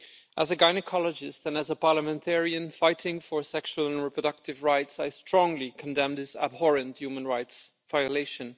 As a gynaecologist and as a parliamentarian fighting for sexual and reproductive rights, I strongly condemn this abhorrent human rights violation.